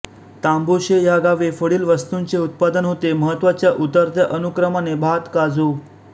तांबुशे ह्या गावी पुढील वस्तूंचे उत्पादन होते महत्त्वाच्या उतरत्या अनुक्रमाने भात काजू